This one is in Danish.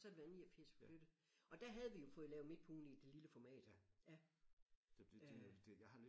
Så har det været i 89 vi flyttede og der havde vi jo fået lavet Midt På Ugen i det lille format ja øh